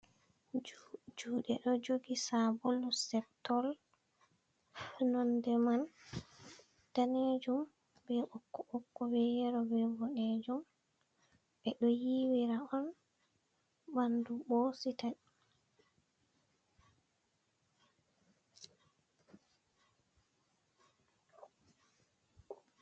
Juɗe ɗo jogi sabulu septol, nonnde man danejum be ɓokko ɓokko be yelo be boɗejum, ɓeɗo yiwira on ɓandu ɓosita.